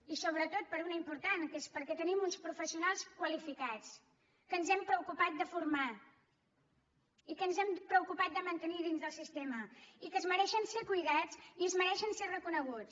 i sobretot per una d’important que és perquè tenim uns professionals qualificats que ens hem preocupat de formar i que ens hem preocupat de mantenir dins del sistema i que es mereixen ser cuidats i es mereixen ser reconeguts